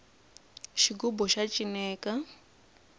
xigubu xa cineka